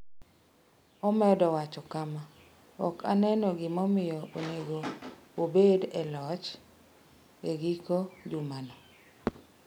Omedo wacho kama: “Ok aneno gimomiyo onego obed e loch e giko jumano.”